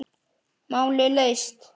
Málið leyst.